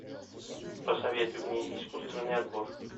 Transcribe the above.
посоветуй мне искусственный отбор